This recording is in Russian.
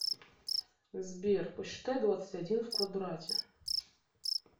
сбер посчитай двадцать один в квадрате